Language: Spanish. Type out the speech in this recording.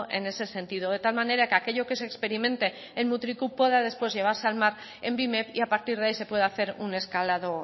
en ese sentido de tal manera que aquello que se experimente en mutriku pueda después llevarse al mar en bimep y a partir de ahí se pueda hacer un escalado